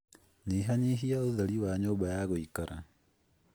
nyihanyihia ũtheri wa nyũmba ya gũikara?